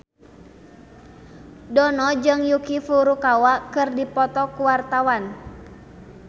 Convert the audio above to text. Dono jeung Yuki Furukawa keur dipoto ku wartawan